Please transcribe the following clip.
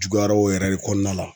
Juguyara o yɛrɛ de kɔnɔna la.